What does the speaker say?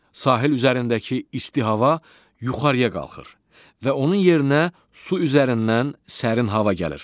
Sahil üzərindəki isti hava yuxarıya qalxır və onun yerinə su üzərindən sərin hava gəlir.